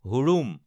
হুৰুম